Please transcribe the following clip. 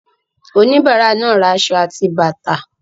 Oníbàárà náà ra aṣọ àti bàtà.